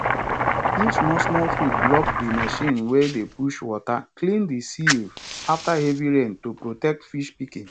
if small small food block the machine wey dey push water clean the sieve after heavy rain to protect fish pikin